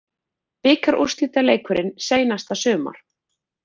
Bikarúrslitaleikurinn seinasta sumar